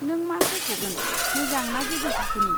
नों मा सायखगोन, मोजां ना गोजौ थाखोनि?